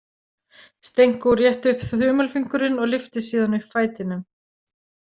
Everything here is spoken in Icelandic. Stenko rétti upp þumalfingurinn og lyfti síðan upp fætinum.